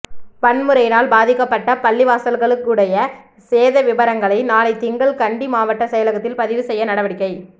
வன்முறையினால் பாதிக்கப்பட்ட பள்ளிவாசல்களுடைய சேத விபரங்களை நாளை திங்கள் கண்டி மாவட்ட செயலகத்தில் பதிவு செய்ய நடவடிக்கை